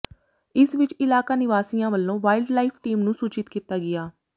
ਇਸ ਵਿਚ ਇਲਾਕਾ ਨਿਵਾਸੀਆਂ ਵੱਲੋਂ ਵਾਈਲਡ ਲਾਈਫ ਟੀਮ ਨੂੰ ਸੂਚਿਤ ਕੀਤਾ ਗਿਆ